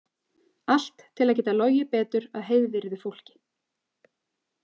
Allt til að geta logið betur að heiðvirðu fólki.